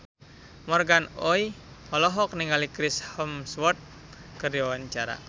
Morgan Oey olohok ningali Chris Hemsworth keur diwawancara